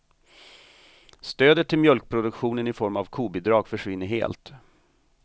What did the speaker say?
Stödet till mjölkproduktionen i form av kobidrag försvinner helt.